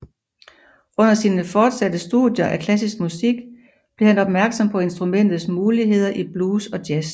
Under sine fortsatte studier af klassisk musik blev han opmærksom på instrumentets muligheder i blues og jazz